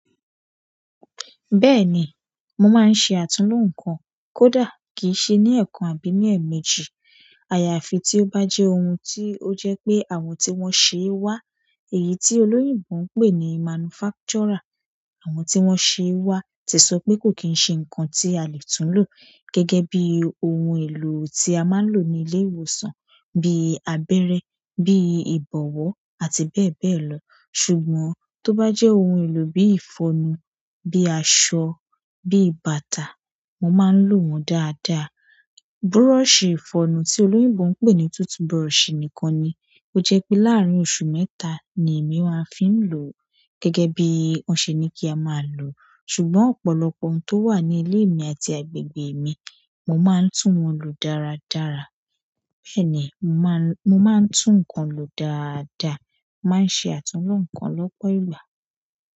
Bẹ́ẹ̀ ni, mo máa ń ṣe àtulò nǹkan kódà kì í ṣe ní ẹ̀ẹ̀kan àbí ní ẹ̀ẹ̀mejì. Àyàfi tí ó bá jẹ́ ohun tí ó jẹ́ pé àwọn tí wón ṣe é wá, èyí tí olóyìnbo ń pè ní manufacturer. Àwọn tí wón ṣe é wá ti sọ pé kò kín ń ṣe nǹkan tí a lè tulò gẹ́gẹ́ bí ohun èlò tí a máa ń lò ní ilé ìwòsàn bíi abẹ́rẹ́, bíi ìbọ̀wọ́ àti bẹ́ẹ̀ bẹ́ẹ̀ lọ. Ṣùgbọ́n tó bá jẹ́ ohun èlò bíi ìfọnu, bíi aṣọ, bíi bàtà, mo máa ń lò wọ́n dáadáa. Búrọ̀sì ìfọnu tí olóyìnbó ń pè ní tooth brush nìkan ni ó jẹ́ pé láàárín oṣù mẹ́ta ni èmi máa fi ń lò ó gẹ́gẹ́ bí wọ́n ṣe ní kí a máa lò ó. Ṣùgbọ́n ọ̀pọ̀lọpọ̀ ohun tó wà ní ilé mi àti agbègbè mi, mo máa ń tún wọ́n lò dáradára. Bẹ́ẹ̀ ni, mo máa ń tún nǹkan lò dáadáa, màá ń ṣe àtulò nǹkan lọ́pọ̀ ìgbà.